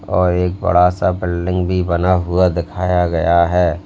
और एक बड़ा सा बिल्डिंग भी बना हुआ दिखाया गया है।